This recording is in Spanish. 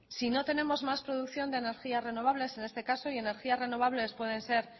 si no tenemos más producción de energía renovables en este caso y energía renovables pueden ser